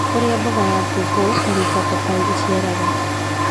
Ũrĩa mbogo ya pawpaw (Carica papai) ĩciaraga